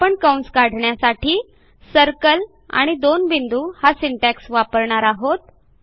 आपण कंस काढण्यासाठी सर्कल आणि दोन बिंदू हा सिंटॅक्स वापरणार आहोत